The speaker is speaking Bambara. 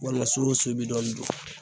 Walima su wo su i be dɔɔni dun